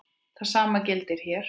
Það sama gildir hér.